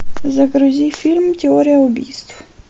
загрузи фильм теория убийств